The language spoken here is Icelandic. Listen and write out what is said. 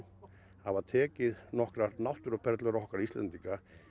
hafa tekið nokkrar náttúruperlur okkar Íslendinga